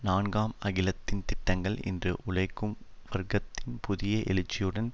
நான்காம் அகிலத்தின் திட்டங்கள் இன்று உழைக்கும் வர்க்கத்தின் புதிய எழுச்சியுடன்